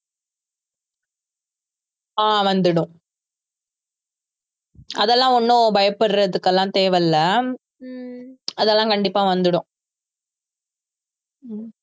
ஆஹ் வந்துடும் அதெல்லாம் ஒண்ணும் பயப்படுறதுக்கு எல்லாம் தேவை இல்லை அதெல்லாம் கண்டிப்பா வந்துடும்